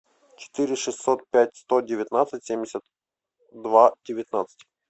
четыре шестьсот пять сто девятнадцать семьдесят два девятнадцать